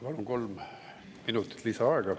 Palun kolm minutit lisaaega.